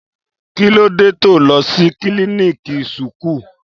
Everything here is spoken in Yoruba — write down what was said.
Kílòdẹ to lò sí kílìníkì súkù?